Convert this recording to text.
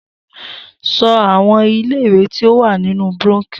So àwọn ilé ìwé tí ó wà nínú brónkíò